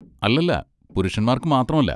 അല്ലല്ല, പുരുഷന്മാർക്ക് മാത്രമല്ല.